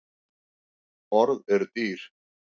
Orð eru dýr